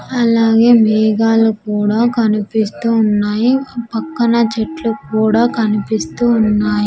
అలాగే మేఘాలు కూడా కనిపిస్తూ ఉన్నాయి ఆ పక్కన చెట్లు కూడా కనిపిస్తూ ఉన్నాయి.